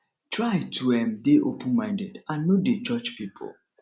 try to um dey open minded and no dey judge pipo